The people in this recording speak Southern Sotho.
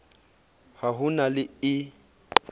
ha ho na le e